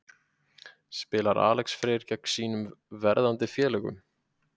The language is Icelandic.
Spilar Alex Freyr gegn sínum verðandi félögum?